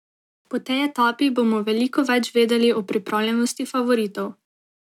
Po tej etapi bomo veliko več vedeli o pripravljenosti favoritov.